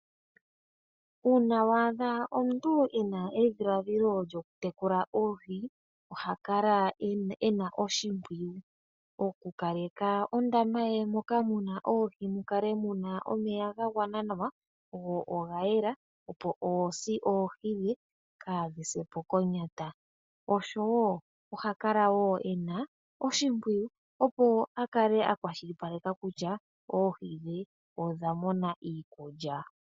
Una wa adha omuntu ena edhiladhilo lyokutekula oohi oha kala ena oshipwiyu oku kaleka ondama ye moka muna oohi mukale muna omeya ga gwana nawa go oga yela opo oohi dhe kadhi se po konyata oshowo oha kala wo ena oshipwiyu opo akale akwashilipaleko kutya oohi dhe odha mona iikulya.